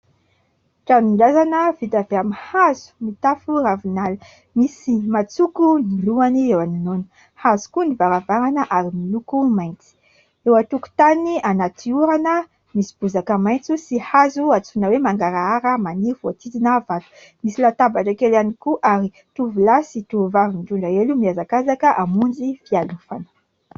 Tranon-drazana vita avy amin'ny hazo mitafo ravinala. Misy matsoko ny lohany eo anoloana. Hazo koa ny varavarana ary miloko mainty. Eo an-tokotany, anaty orana, misy bozaka maitso sy hazo antsoina hoe mangarahara maniry voahodidina vato. Misy latabatra kely ihany koa ary tovolahy sy tovovavy mitondra elo mihazakazaka hamonjy fialofana.